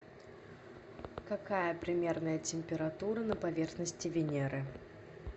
какая примерная температура на поверхности венеры